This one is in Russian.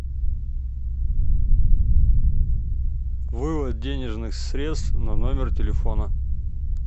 вывод денежных средств на номер телефона